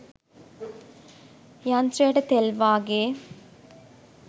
යන්ත්‍රයට තෙල් වාගේ